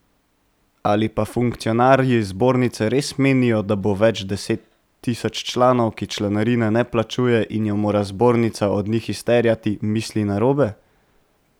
Ali pa funkcionarji zbornice res menijo, da več deset tisoč članov, ki članarine ne plačuje in jo mora zbornica od njih izterjati, misli narobe.